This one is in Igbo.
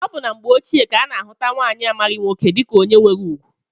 Ọ bụ na mgbe ochie ka a na-ahụta nwaanyị amaghị nwoke dịka onye nwere ugwu